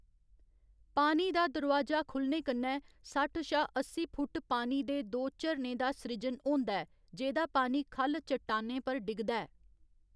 पानी दा दरोआजा खुलने कन्नै सट्ठ शा अस्सी फुट्ट पानी दे दो झरनें दा सृजन होंदा ऐ जेह्‌दा पानी ख'ल्ल चट्टानें पर डिग्गदा ऐ।